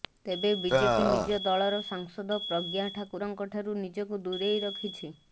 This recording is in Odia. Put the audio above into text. ତେବେ ବିଜେପି ନିଜ ଦଳର ସାଂସଦ ପ୍ରଜ୍ଞା ଠାକୁରଙ୍କ ଠାରୁ ନିଜକୁ ଦୂରେଇ ରଖିଛି